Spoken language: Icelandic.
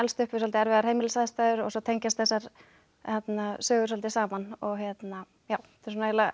upp við svolítið erfiðar heimilisaðstæður og svo tengjast þessar sögur svolítið saman þetta er eiginlega